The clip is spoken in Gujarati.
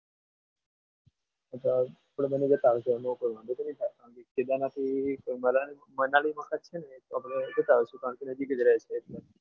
આપણે બંને મોકલવાના એટલે થઈ જાય કેદારનાથની મનાલી મનાલી વખત છે ને આપણે જતા આવશું કારણકે નજીક જ રહે છે.